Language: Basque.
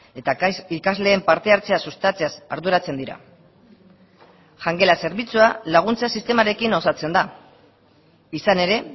eta ikasleen parte hartzea sustatzeaz arduratzen dira jangela zerbitzua laguntza sistemarekin osatzen da izan ere